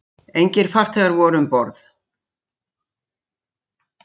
Engir farþegar voru um borð